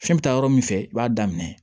Fɛn bɛ taa yɔrɔ min fɛ i b'a daminɛ